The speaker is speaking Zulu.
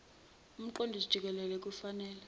umqondisi jikelele kufanele